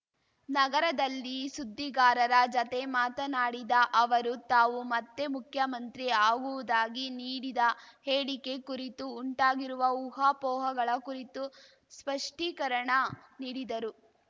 ನಗರದಲ್ಲಿ ಸುದ್ದಿಗಾರರ ಜತೆ ಮಾತನಾಡಿದ ಅವರು ತಾವು ಮತ್ತೆ ಮುಖ್ಯಮಂತ್ರಿ ಆಗುವುದಾಗಿ ನೀಡಿದ ಹೇಳಿಕೆ ಕುರಿತು ಉಂಟಾಗಿರುವ ಊಹಾಪೋಹಗಳ ಕುರಿತು ಸ್ಪಷ್ಟೀಕರಣ ನೀಡಿದರು